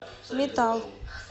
метал